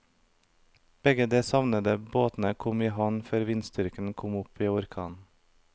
Begge de savnede båtene kom i havn før vindstyrken kom opp i orkan.